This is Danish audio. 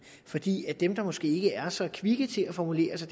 fordi dem der måske ikke er så kvikke til at formulere sig